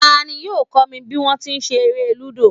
Ta ní yóò kó mi bí wọn ti ń ṣe eré Lúdò.